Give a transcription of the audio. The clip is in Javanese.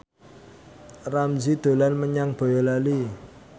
Ramzy dolan menyang Boyolali